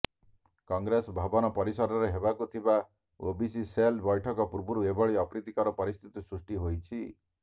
କଂଗ୍ରେସ ଭବନ ପରିସରରେ ହେବାକୁ ଥିବା ଓବିସି ସେଲ୍ ବୈଠକ ପୂର୍ବରୁ ଏଭଳି ଅପ୍ରିତିକର ପରିସ୍ଥିତି ସୃଷ୍ଟି ହୋଇଛି